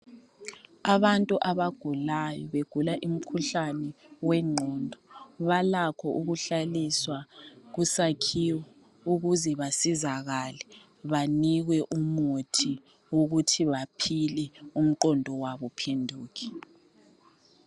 Abantu abagulayo begula umkhuhlane wengqondo balakho ukuhlaliswa kusakhiwo ukuze basizakale banikwe umuthi ukuthi baphile umqondo wabo uphenduke.